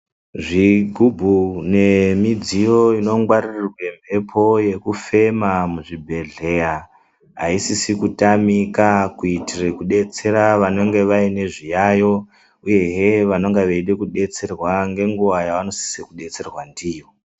Zvigubhu nemidziyo inongwaririrwe mheepo yekufema muzvibhehleya aisizi kutamika kuitire kubetsera vanenge vaine zviyayo uyezve vanenge vaide kudetserwa nenguva yavanosise kubetserwa ndiyo.